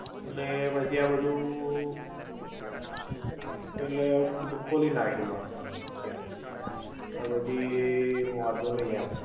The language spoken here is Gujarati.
ઍટલે પછી આ બધુ એટલે બધુ ખોલી નાખેલું આમ તો તે પછી વૉનધો નઇ એમ